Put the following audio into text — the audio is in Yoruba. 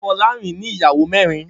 Folarin ni iyàwó mèrín